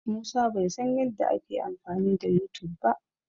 Musa bai san yadda ake amfani da Yutub ba.